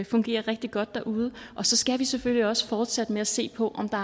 fungere rigtig godt derude og så skal vi selvfølgelig også fortsætte med at se på om der